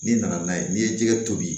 N'i nana n'a ye n'i ye jɛgɛ tobi